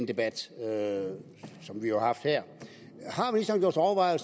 debat som vi jo har haft her